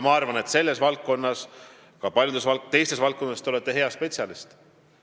Ma arvan, et te olete selles valdkonnas ja ka paljudes teistes valdkondades hea spetsialist.